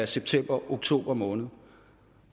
september oktober måned